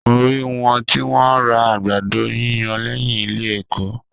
Mo rí wọn tí wọ́n ń ra àgbàdo yíyan lẹ́yìn ilé ẹ̀kọ́.